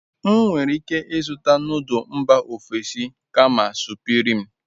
M nwere ike izuta nodul mba ofesi kama supirim